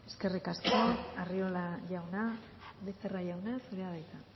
eskerrik asko arriola jauna becerra jauna zurea da hitza